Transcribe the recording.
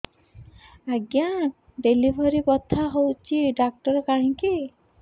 ଆଜ୍ଞା ଡେଲିଭରି ବଥା ହଉଚି ଡାକ୍ତର କାହିଁ କି